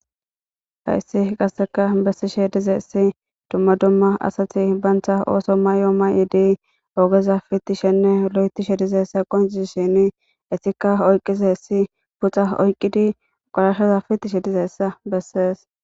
Hayissi qasika besishe dizayisi duma duma asati bantha oso mayo mayidi ogeza pitishe nne loyitishe dizayisa qonccisishini etika oyqizayisi puxa oyikidi qoshashza pitishe dizayisa beses